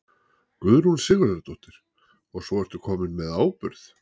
Guðrún Sigurðardóttir: Og svo ertu kominn með áburð?